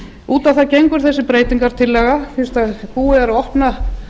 út á það gengur þessi breytingartillaga fyrst búið er að opna